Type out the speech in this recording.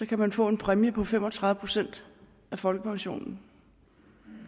kan få en præmie på fem og tredive procent af folkepensionen